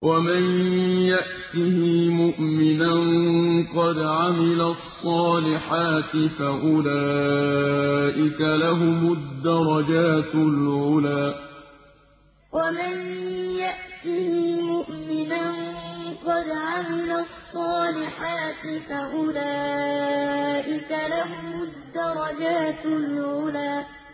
وَمَن يَأْتِهِ مُؤْمِنًا قَدْ عَمِلَ الصَّالِحَاتِ فَأُولَٰئِكَ لَهُمُ الدَّرَجَاتُ الْعُلَىٰ وَمَن يَأْتِهِ مُؤْمِنًا قَدْ عَمِلَ الصَّالِحَاتِ فَأُولَٰئِكَ لَهُمُ الدَّرَجَاتُ الْعُلَىٰ